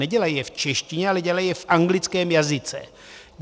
Nedělají je v češtině, ale dělají je v anglickém jazyce.